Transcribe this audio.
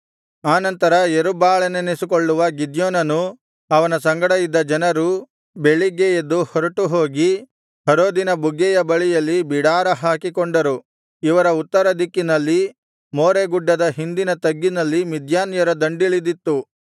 ಆನಂತರ ಯೆರುಬ್ಬಾಳನೆನಿಸಿಕೊಳ್ಳುವ ಗಿದ್ಯೋನನೂ ಅವನ ಸಂಗಡ ಇದ್ದ ಜನರೂ ಬೆಳಿಗ್ಗೆ ಎದ್ದು ಹೊರಟು ಹೋಗಿ ಹರೋದಿನ ಬುಗ್ಗೆಯ ಬಳಿಯಲ್ಲಿ ಬಿಡಾರ ಹಾಕಿಕೊಂಡರು ಇವರ ಉತ್ತರದಿಕ್ಕಿನಲ್ಲಿ ಮೋರೆಗುಡ್ಡದ ಹಿಂದಿನ ತಗ್ಗಿನಲ್ಲಿ ಮಿದ್ಯಾನ್ಯರ ದಂಡಿಳಿದಿತ್ತು